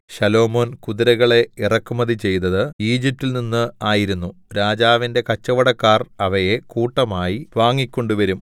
ശലോമോൻ കുതിരകളെ ഇറക്കുമതി ചെയ്തത് ഈജിപ്റ്റിൽ നിന്ന് ആയിരുന്നു രാജാവിന്റെ കച്ചവടക്കാർ അവയെ കൂട്ടമായി വാങ്ങിക്കൊണ്ടുവരും